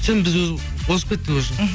шын біз озып кеттік уже мхм